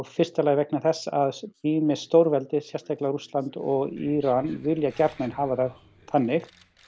fyrsta lagi vegna þess að ýmis stórveldi sérstaklega Rússland og Íran vilja gjarnan hafa það þannig